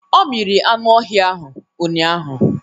Ọ miri anụ ọhịa ahụ ụnyaahụ